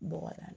Bɔgɔda